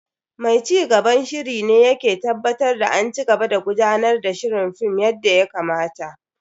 Mai cigaban shiri shi ne yake tabbatar da an cigaba da gudanar da shirin Film yadda ya kamata.